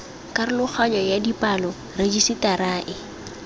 karologanyo ya dipalo rejisetara e